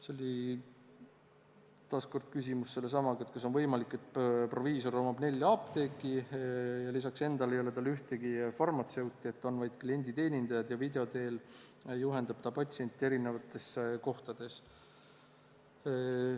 Siis oli taas küsimus sellesama kohta, kas on võimalik, et proviisor omab nelja apteeki ning lisaks endale ei ole tal ühtegi farmatseuti, on vaid klienditeenindajad ja video teel juhendab ta patsiente erinevates kohtades.